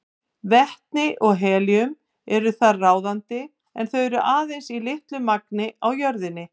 Vetni og helíum eru þar ráðandi en þau eru aðeins í litlu magni á jörðinni.